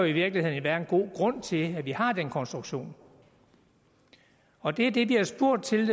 i virkeligheden være en god grund til at vi har den konstruktion og det er det vi har spurgt til